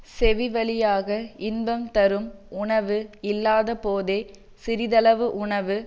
செவி வழியாக இன்பம் தரும் உணவு இல்லாதபோதே சிறிதளவு உணவு